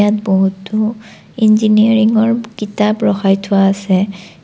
বহুতো ইঞ্জিনিয়াৰিংৰ কিতাপ ৰখাই থোৱা আছে।